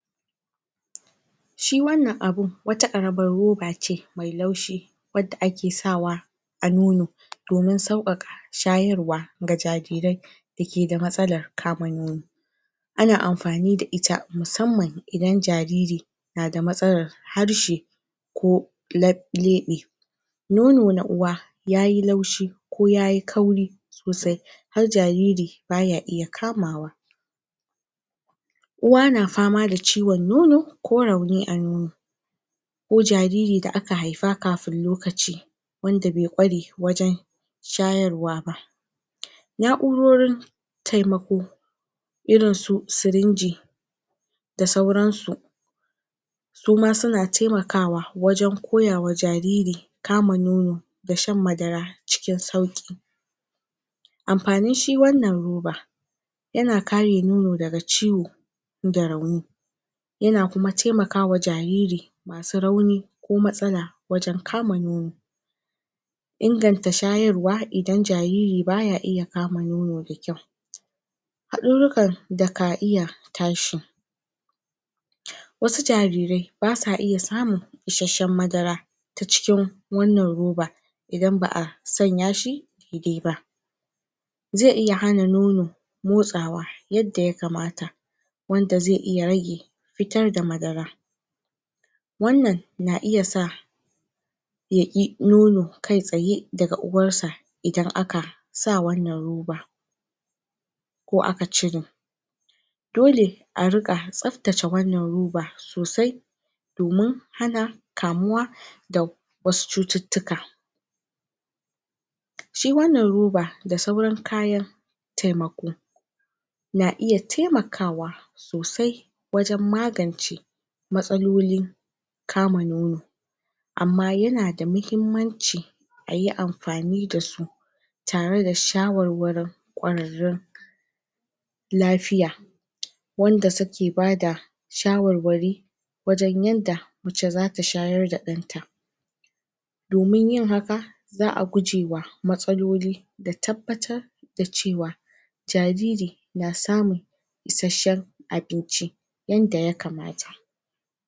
shi wannan abun wata karamar robace mai laushi wadda ake sawa a nono domin saukaka shayarwa ga jarire da ke da matsalar kama nono ana amfani da ita musamman idan jariri na da tsalar harshe ko leb lebe nono na uwa yayi laushi ko yayi kauri sosai har jariri baya iya kamawa uwa na fama da ciwon nono ko rauni a nono ko jariri da aka haifa kafin lokaci wanda bai kware wajan shayarwa ba na urorin temako irin su sirinji da sauransu suma suna temakawa wajan koyawa jariri kama nono da shan madara cikin sauki amfanin shi wannan roba yana kare nono daga ciwo rauni yana kuma temakawa jariri masu rauni ko matsala wajan kama nono inganta shayarwa idan jariri baya iya kama nono da kyau hadururukan da ka iya tashia wasu jarire ba sa iya samun isashshen madara ta cikin wannan roba idan ba a sanya shi da-idai ba zai iya hana nono motsawa yadda ya kamata waanda zai iya rage fitar da madara wannan na iya sa yaki nono kai tsaye daga uwarsa idan aka sa wannan roba ko aka cire dole a rika tsabtace wannan roba kai sosai domin hana kamuwa da wasu cututtuka shi wannan roba da sauran kayan temako na iya temakawa sosai wajan magance matsaloli kama nono amma yana da mahimmanci ayi amfani da su tare da shawarwarin kwararrun lafiya wanda suke ba da shawarwari wajan yadda mace za ta shayar da danta domin yin haka za a gujewa matsaloli da tabbatar da cewa jariri na samun isashshen abinci yadda ya kamata